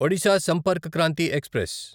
Odisha Sampark Kranti express